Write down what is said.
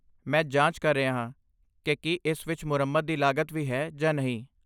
ਮੈਂ ਜਾਂਚ ਕਰ ਰਿਹਾ ਹਾਂ ਕਿ ਕੀ ਇਸ ਵਿੱਚ ਮੁਰੰਮਤ ਦੀ ਲਾਗਤ ਵੀ ਹੈ ਜਾਂ ਨਹੀਂ।